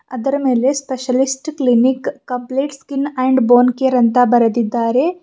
ಅದರ ಮೇಲೆ specialist clinic complete and bone care ಅಂತ ಬರೆದಿದ್ದಾರೆ.